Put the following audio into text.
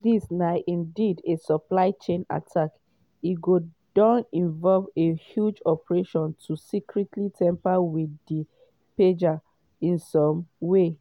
if dis na indeed a supply chain attack e go don involve a huge operation to secretly tamper with di pagers in some way.